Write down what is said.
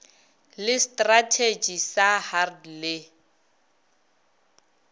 le strathetši sa hrd le